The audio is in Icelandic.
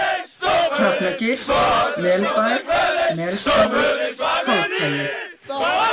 Hrafnagil, Melbær, Melstaður, Kálfhagi